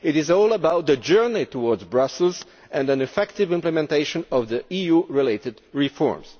It is all about the journey towards Brussels and the effective implementation of EU related reforms.